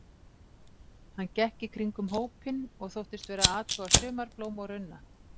Hann gekk í kringum hópinn og þóttist vera að athuga sumarblóm og runna.